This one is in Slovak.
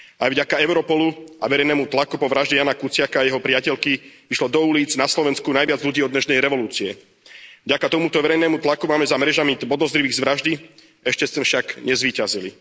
Aj vďaka Europolu a verejnému tlaku po vražde Jána Kuciaka a jeho priateľky vyšlo do ulíc na Slovensku najviac ľudí od nežnej revolúcie. Vďaka tomuto verejnému tlaku máme za mrežami podozrivých z vraždy, ešte sme však nezvíťazili.